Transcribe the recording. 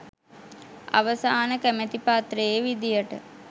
අ‍ව‍සා‍න ‍කැ‍ම‍ති පත්‍රයේ ‍වි‍දි‍ය‍ට